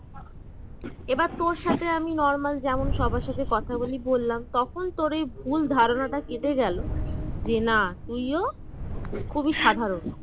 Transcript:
এবার তোর সাথে আমি normal যেমন সবার সাথে কথা বলি বললাম তখন তোর এই ভুল ধারণাটা কেটে গেল যে না তুইও খুবই সাধারণ